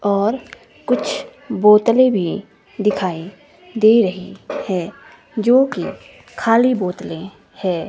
और कुछ बोतले भी दिखाएं दे रही है जोकि खाली बोतलें है।